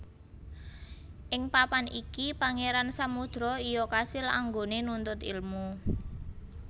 Ing papan iki Pangeran Samudro iya kasil anggone nuntut ilmu